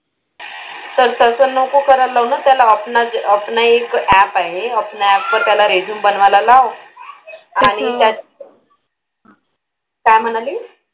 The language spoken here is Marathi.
पण तसं नको करायला लावू ना त्याला. अपना अपना एक app आहे त्या app वर त्याला resume बनवायला लाव आणि त्यात, काय म्हणालीस?